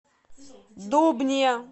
дубне